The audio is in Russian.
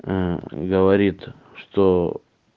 говорит что